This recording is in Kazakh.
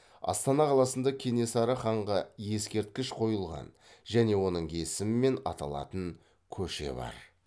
астана қаласында кенесары ханға ескерткіш қойылған және оның есімімен аталатын көше бар